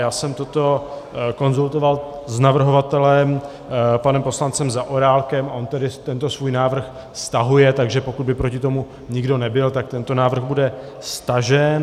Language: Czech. Já jsem toto konzultoval s navrhovatelem panem poslancem Zaorálkem a on tedy tento svůj návrh stahuje, takže pokud by proti tomu nikdo nebyl, tak tento návrh bude stažen.